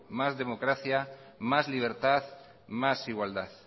más democracia más libertad más igualdad